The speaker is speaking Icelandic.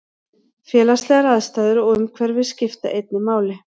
Félagslegar aðstæður og umhverfi skipta einnig máli.